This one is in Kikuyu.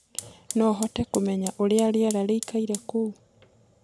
no hote kumenya uria rĩera rĩĩkaĩre kou